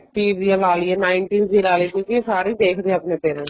eighties ਦੀ ਲਈਏ nineties ਦੀ ਲਾਲੀਏ ਕਿਉਂਕਿ ਇਹ ਸਾਰੇ ਦੇਖਦੇ ਨੇ ਆਪਣੇ parents